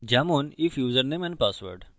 তাই আমরা বলতে পারি উদাহরণস্বরূপ if ইউসারনেম এন্ড পাসওয়ার্ড